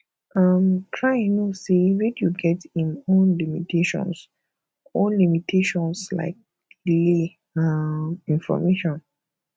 um try know sey radio get im own limitations own limitations like delayed um information